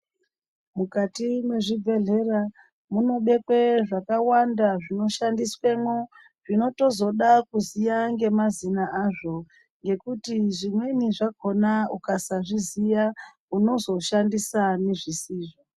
Mukati mwezvibhedhlera munobekwa zvakawanda zvinoshandiswamwo zvinotozoda kuziya ngemazina azvo ngekuti zvimweni zvakhona ukasazviziya unozoshandisa nezvisizvo.